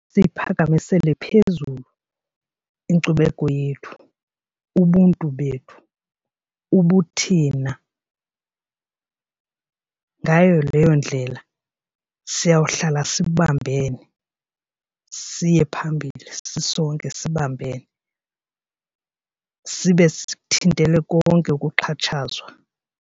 Siyiphakamisele phezulu inkcubeko yethu, ubuntu bethu ubuthina. Ngayo leyo ndlela siyawuhlala sibambene siye phambili sisonke sibambene sibe sikuthintele konke ukuxhatshazwa.